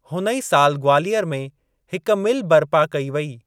हुन ई सालु ग्वालियर में हिक मिल बर्पा कई वेई।